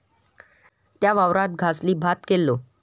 त्या वावरात गासली भात केल्लो